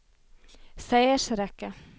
seiersrekke